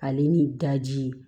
Ale ni daji